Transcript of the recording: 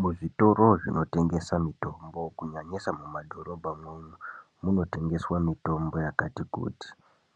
Muzvitoro zvinotengesa mutombo kunyanyisa mumadhorobhamwo umwo munotengeswa mitombo yakati kuti.